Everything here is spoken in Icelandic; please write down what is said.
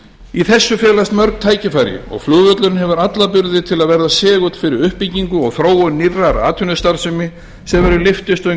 í þessu felast mörg tækifæri og flugvöllurinn hefur alla burði til að verða segull fyrir uppbyggingu og þróun nýrrar atvinnustarfsemi sem verður lyftistöng